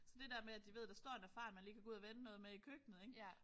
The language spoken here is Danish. Så det der med at de ved der står en erfaren man lige kan gå ud og vende noget med i køkkenet ik